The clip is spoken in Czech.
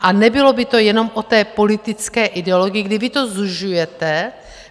A nebylo by to jenom o té politické ideologii, kdy vy to zužujete.